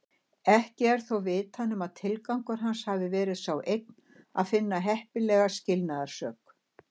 Ekki er þó vitað nema tilgangur hans hafi verið sá einn að finna heppilega skilnaðarsök.